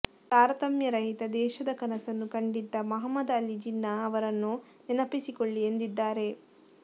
ತಾರತಮ್ಯ ರಹಿತ ದೇಶದ ಕನಸನ್ನು ಕಂಡಿದ್ದ ಮಹಮ್ಮದ್ ಅಲಿ ಜಿನ್ನಾ ಅವರನ್ನು ನೆನಪಿಸಿಕೊಳ್ಳಿ ಎಂದಿದ್ದಾರೆ